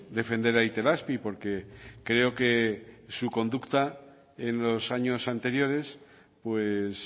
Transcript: defender a itelazpi porque creo que su conducta en los años anteriores pues